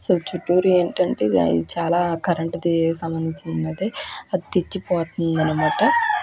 చుట్టూరు ఏంటంటే చానా కరెంటు కి సంబంధించినది అది తిచ్చిపొడుంది అనమాట --